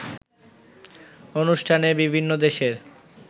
অনুষ্ঠানে বিভিন্ন দেশের